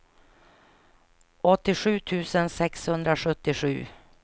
åttiosju tusen sexhundrasjuttiosju